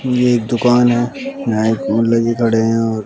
ये एक दुकान है यहां एक लेके खड़े हैं और --